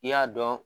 I y'a dɔn